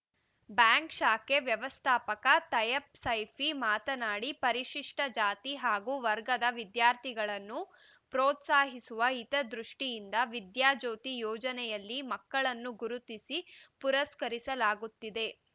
bank ಶಾಖೆ ವ್ಯವಸ್ಥಾಪಕ ತೈಯಬ್‌ ಸೈಫಿ ಮಾತನಾಡಿ ಪರಿಶಿಷ್ಟಜಾತಿ ಹಾಗೂ ವರ್ಗದ ವಿದ್ಯಾರ್ಥಿಗಳನ್ನು ಪ್ರೋತ್ಸಾಹಿಸುವ ಹಿತದೃಷ್ಟಿಯಿಂದ ವಿದ್ಯಾಜ್ಯೋತಿ ಯೋಜನೆಯಲ್ಲಿ ಮಕ್ಕಳನ್ನು ಗುರುತಿಸಿ ಪುರಸ್ಕರಿಸಲಾಗುತ್ತಿದೆ